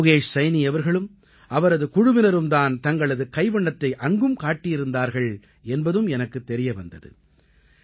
யோகேஷ் சைனீ அவர்களும் அவரது குழுவினரும் தான் தங்களது கைவண்ணத்தை அங்கும் காட்டியிருந்தார்கள் என்பதும் எனக்குத் தெரிய வந்தது